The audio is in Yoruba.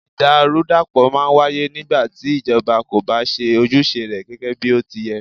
Ìdàrúdàpọ̀ máà ń wáyé nígbà tí ìjọba kò bá ṣe ojúṣe rẹ gẹgẹ bí ó ti yẹ́.